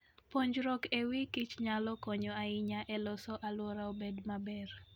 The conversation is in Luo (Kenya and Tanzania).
Puonjruok e wi kichnyalo konyo ahinya e loso alwora obed maber.